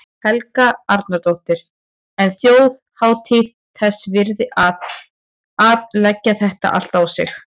Helga Arnardóttir: En þjóðhátíð þess virði að, að leggja þetta á sig allt?